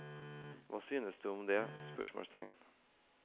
Hva syns du om det? spørsmålstegn